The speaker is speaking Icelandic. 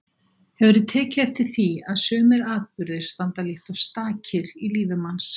Hefurðu tekið eftir því að sumir atburðir standa líkt og stakir í lífi manns.